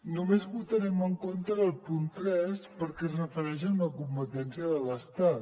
només votarem en contra del punt tres perquè es refereix a una competència de l’estat